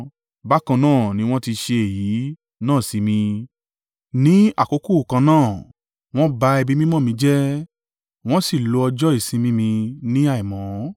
Bákan náà ni wọ́n ti ṣe èyí náà sí mi. Ní àkókò kan náà wọn ba ibi mímọ́ mi jẹ́, wọ́n sì lo ọjọ́ ìsinmi mi ní àìmọ́.